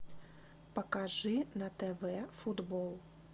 покажи на тв футбол